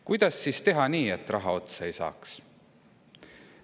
Kuidas siis teha nii, et raha otsa ei saaks?